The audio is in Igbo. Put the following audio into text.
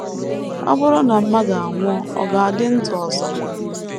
Ọ bụrụ na mmadụ anwụọ, ọ̀ ga - adị ndụ ọzọ?...